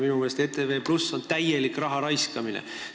Minu meelest on ETV+ täielik raha raiskamine.